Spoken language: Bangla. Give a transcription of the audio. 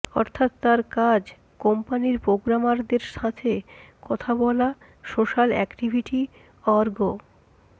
অর্থাৎ তার কাজ কোম্পানির প্রোগ্রামারদের সাথে কথা বলা সোশাল অ্যাক্টিভিটি অর্গ